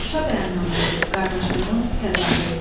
Şuşa bəyannaməsi qardaşlığın təzahürü.